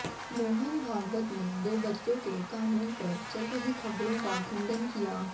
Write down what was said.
मोहन भागवत ने दाे बच्चों के कानून पर चल रही खबरों का खंडन किया